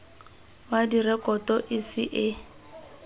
wa direkoto e setse e